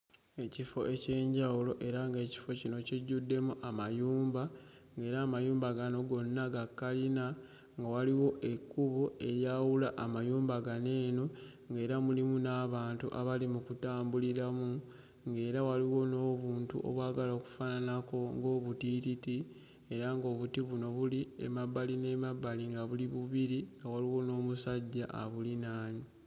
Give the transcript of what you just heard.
Ekifo eky'enjawulo era ng'ekifo kino kijjuddemu amayumba ng'era amayumba gano gonna ga kalina nga waliwo ekkubo eryawula amayumba gano eno, ng'era mulimu n'abantu abali mu kutambuliramu ng'era waliwo n'obuntu obwagala okufaananako ng'obutiititi era ng'obuti buno buli emabbali n'emabbali nga buli bubiri nga waliwo n'omusajja abulinaanye.